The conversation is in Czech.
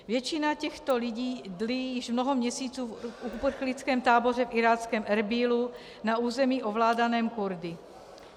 Většina těchto lidí dlí již mnoho měsíců v uprchlickém táboře v iráckém Erbílu na území ovládaném Kurdy.